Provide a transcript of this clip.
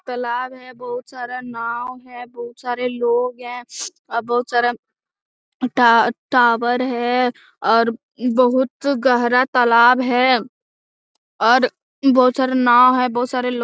तालाब है बहुत सारा नाव है बहुत सारे लोग है और बहुत सारा टॉवर है और बहुत गहरा तालाब है और बहुत सारा नाव है और बहुत सारे लोग --